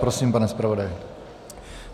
Prosím, pane zpravodaji.